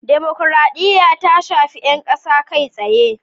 Dimukraɗiya ta shafi 'yan kasa kai tsaye.